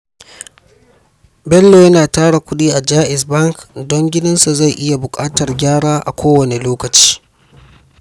Bello yana tara kudi a Jaiz Bank don gidansa zai iya buƙatar gyara a kowane lokaci.